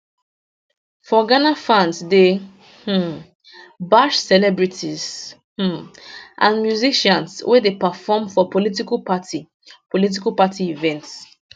for ghana fans dey um bash celebrities um and musicians wey dey perform for political party political party events